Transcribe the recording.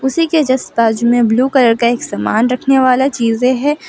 उसी के जस्ट बाजू में ब्लू कलर का एक समान रखने वाला चीजे है।